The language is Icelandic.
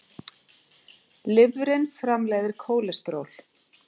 Lifrin framleiðir kólesteról.